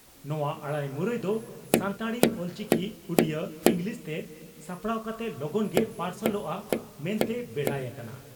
ᱱᱚᱣᱟ ᱟᱹᱲᱟᱹᱢᱩᱨᱟᱹᱭ ᱫᱚ ᱥᱟᱱᱛᱟᱲᱤ (ᱚᱞᱪᱤᱠᱤ) ᱩᱰᱤᱭᱟᱹ ᱤᱸᱜᱽᱞᱤᱥᱛᱮ ᱥᱟᱯᱲᱟᱣ ᱠᱟᱛᱮ ᱞᱚᱜᱚᱱ ᱜᱮ ᱯᱟᱨᱥᱟᱞᱚᱜᱼᱟ ᱢᱮᱱᱛᱮ ᱵᱮᱰᱟᱭ ᱟᱠᱟᱱᱟ ᱾